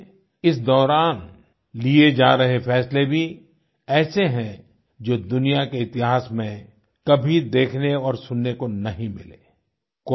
इसलिए इस दौरान लिए जा रहे फैसले भी ऐसे हैं जो दुनिया के इतिहास में कभी देखने और सुनने को नहीं मिले